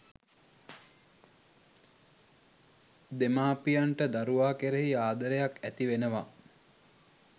දෙමාපියන්ට දරුවා කෙරෙහි ආදරයක් ඇතිවෙනවා